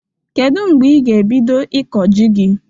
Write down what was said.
Kedụ mgbe ị ga ebido ịkọ jị gị?